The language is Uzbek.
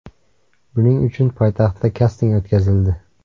Buning uchun poytaxtda kasting o‘tkazildi.